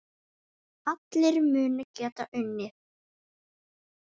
Allir munu geta unnið alla.